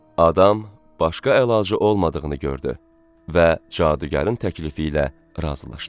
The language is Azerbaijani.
Adam başqa əlacı olmadığını gördü və cadugarın təklifi ilə razılaşdı.